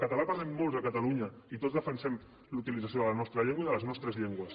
el català el parlem molts a catalunya i tots defensem la utilització de la nostra llengua i de les nostres llengües